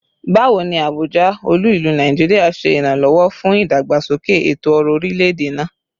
Bawo ni Abuja, olu-ilu Naijiria, ṣe iranlọwọ fun idagbasoke eto-ọrọ orilẹ-ede naa?